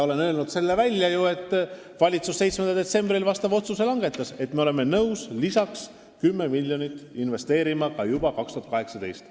Olen öelnud välja, et 7. detsembril langetas valitsus otsuse, et me oleme nõus investeerima 10 miljonit lisaks juba aastal 2018.